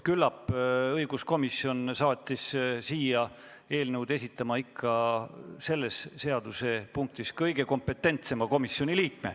Küllap saatis õiguskomisjon seda eelnõu esitlema ikka selles seadusepunktis oma kõige kompetentsema liikme.